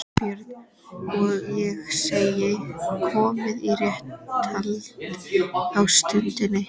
BJÖRN: Og ég segi: Komið í réttarhald á stundinni